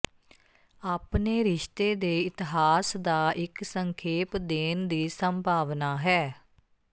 ਆਪਣੇ ਰਿਸ਼ਤੇ ਦੇ ਇਤਿਹਾਸ ਦਾ ਇੱਕ ਸੰਖੇਪ ਦੇਣ ਦੀ ਸੰਭਾਵਨਾ ਹੈ